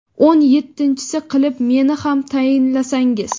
o‘n yettinchisi qilib meni ham tayinlasangiz.